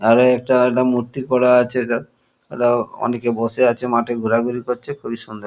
আরে এখানে একটা মূর্তী করা আছে এটা এটা অনেকে বসে আছে মাঠে ঘোরাঘুরি করছে খুবই সুন্দর।